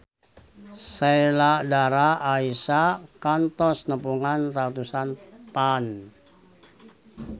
Sheila Dara Aisha kantos nepungan ratusan fans